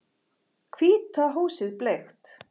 Hvíta húsið bleikt